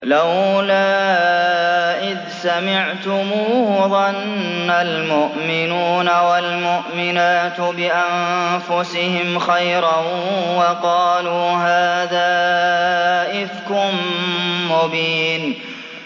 لَّوْلَا إِذْ سَمِعْتُمُوهُ ظَنَّ الْمُؤْمِنُونَ وَالْمُؤْمِنَاتُ بِأَنفُسِهِمْ خَيْرًا وَقَالُوا هَٰذَا إِفْكٌ مُّبِينٌ